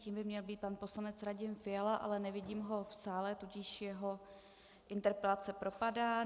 Tím by měl být pan poslanec Radim Fiala, ale nevidím ho v sále, tudíž jeho interpelace propadá.